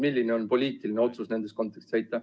Milline on poliitiline otsus nendes kontekstides?